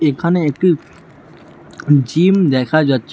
এখানে একটি জিম দেখা যাচ্ছে।